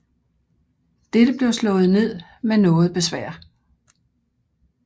Dette blev slået ned med noget besvær